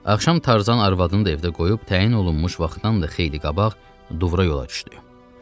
Axşam Tarzan arvadını da evdə qoyub təyin olunmuş vaxtdan da xeyli qabaq Drovra yola düşdü.